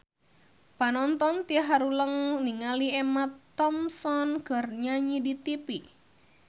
Panonton ting haruleng ningali Emma Thompson keur nyanyi di tipi